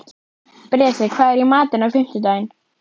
Bresi, hvað er í matinn á fimmtudaginn?